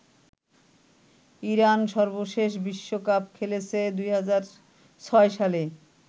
Iran সর্বশেষ বিশ্বকাপ খেলেছে ২০০৬ সালে।